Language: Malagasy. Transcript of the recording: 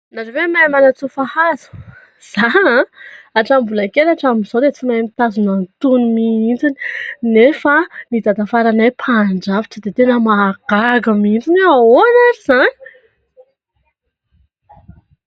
Nareo ve mahay manatsofa hazo? Za atramin'ny mbola kely atramin'izao dia tsy mahay mitazona an'itony mihintsiny nefa dadafaranay mahay mandrafitra. Gaga mihintsy za oe fa ahoana ary zany?